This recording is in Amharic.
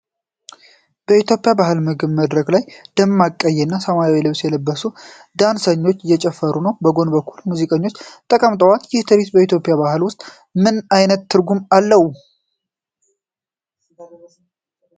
በኢትዮጵያ ባሕላዊ ምግብ ቤት መድረክ ላይ፣ ደማቅ ቀይና ሰማያዊ ልብስ የለበሱ ዳንሰኞች እየጨፈሩ ነው። በጎን በኩል ሙዚቀኞች ተቀምጠዋል። ይህ ትርኢት በኢትዮጵያ ባህል ውስጥ ምን ዓይነት ትርጉም አለው?